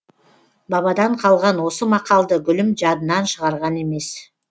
бабадан қалған осы мақалды гүлім жадынан шығарған емес